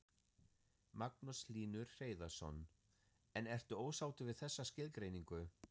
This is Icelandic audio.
Magnús Hlynur Hreiðarsson: En ertu ósáttur við þessa skilgreiningu?